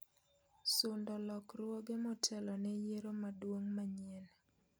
sundo lokruoge motelo ne yiero maduong' manyien